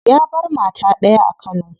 Ya bar mata daya a kano.